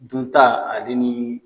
Dunta ale ni